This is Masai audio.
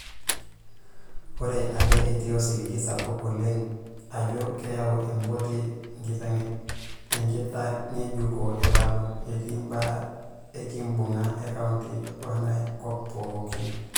Oree ake etii osiligi sapuk oleng ajoo keyau empoti enkitangejuko e Lamu, etii imbaa ekibunga e county wengay kop pooki.